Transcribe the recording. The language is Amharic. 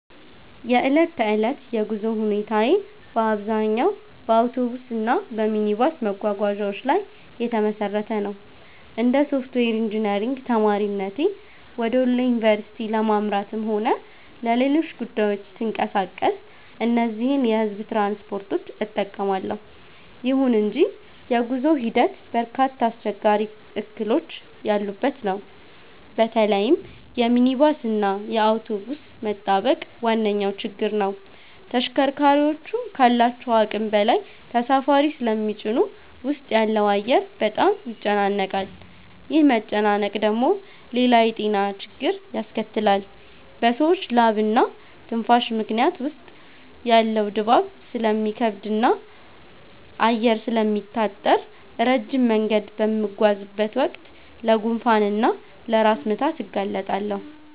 የዕለት ተዕለት የጉዞ ሁኔታዬ በአብዛኛው በአውቶቡስ እና በሚኒባስ መጓጓዣዎች ላይ የተመሰረተ ነው። እንደ ሶፍትዌር ኢንጂነሪንግ ተማሪነቴ ወደ ወሎ ዩኒቨርሲቲ ለማምራትም ሆነ ለሌሎች ጉዳዮች ስንቀሳቀስ እነዚህን የሕዝብ ትራንስፖርቶች እጠቀማለሁ። ይሁን እንጂ የጉዞው ሂደት በርካታ አስቸጋሪ እክሎች ያሉበት ነው። በተለይም የሚኒባስ እና የአውቶቡስ መጣበቅ ዋነኛው ችግር ነው። ተሽከርካሪዎቹ ካላቸው አቅም በላይ ተሳፋሪ ስለሚጭኑ ውስጥ ያለው አየር በጣም ይጨናነቃል። ይህ መጨናነቅ ደግሞ ሌላ የጤና ችግር ያስከትላል፤ በሰዎች ላብና ትንፋሽ ምክንያት ውስጥ ያለው ድባብ ስለሚከብድና አየር ስለሚታጠር፣ ረጅም መንገድ በምጓዝበት ወቅት ለጉንፋን እና ለራስ ምታት እጋለጣለሁ